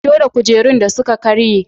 Fito da kujerun da suka karye.